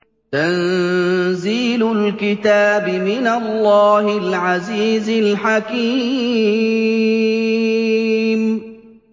تَنزِيلُ الْكِتَابِ مِنَ اللَّهِ الْعَزِيزِ الْحَكِيمِ